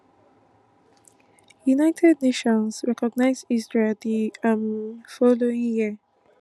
united nations recognise israel di um following year